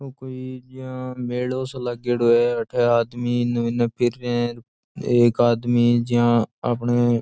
ओ कोई जिया मेलो सो लागेडो है अठे आदमी इन्ने बिन्ने फिर रिया है एक आदमी जियाँ आपणे--